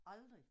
Aldrig